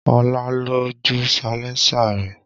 Ọlá lọ jó salẹńsà rẹ̀